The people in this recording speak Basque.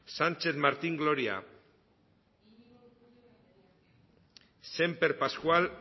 sánchez martín gloria semper pascual